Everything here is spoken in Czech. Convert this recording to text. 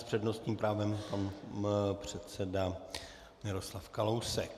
S přednostním právem pan předseda Miroslav Kalousek.